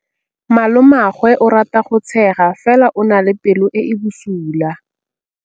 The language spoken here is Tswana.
Malomagwe o rata go tshega fela o na le pelo e e bosula.